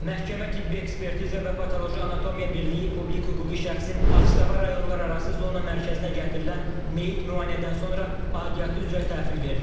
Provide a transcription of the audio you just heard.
Məhkəmə Tibbi Ekspertiza və Patoloji Anatomiya Birliyi publik hüquqi şəxsin Ağstafa rayonlararası zona mərkəzinə gətirilən meyit müayinədən sonra aidiyyatı üzrə təhvil verilib.